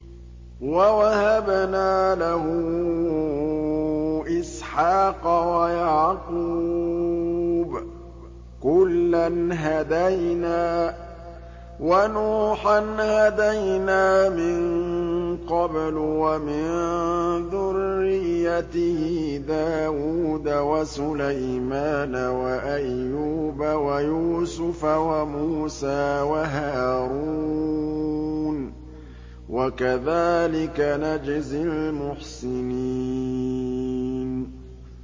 وَوَهَبْنَا لَهُ إِسْحَاقَ وَيَعْقُوبَ ۚ كُلًّا هَدَيْنَا ۚ وَنُوحًا هَدَيْنَا مِن قَبْلُ ۖ وَمِن ذُرِّيَّتِهِ دَاوُودَ وَسُلَيْمَانَ وَأَيُّوبَ وَيُوسُفَ وَمُوسَىٰ وَهَارُونَ ۚ وَكَذَٰلِكَ نَجْزِي الْمُحْسِنِينَ